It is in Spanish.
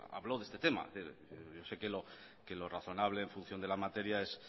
habló de este tema yo sé que lo razonable en función de la materia